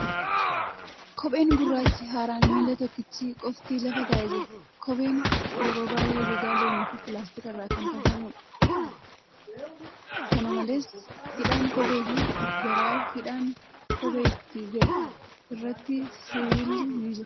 Kopheen gurraachi haaraan miila tokkichaa qofti lafa taa'ee jira. Kopheen yeroo baay'ee gogaa loonii fi pilaastika irraa kan tolfamuudha. Kana malees, hidhaan kophee fi garaa hidhaan kophee itti galu irratti sibiilli ni jira.